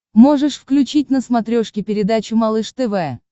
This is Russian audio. можешь включить на смотрешке передачу малыш тв